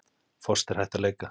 Foster hætt að leika